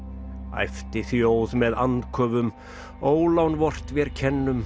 æpti þjóð með andköfum ólán vort vér kennum